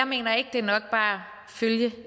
mener ikke det er nok bare at følge